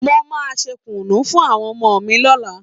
Mo máa ṣe kùnú fún àwọn ọmọ mi lọ́la